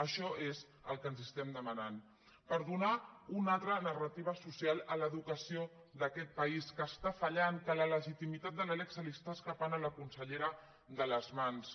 això és el que els estem demanant per donar una altra narrativa social a l’educació d’aquest país que està fallant que la legitimitat de la lec se li està escapant a la consellera de les mans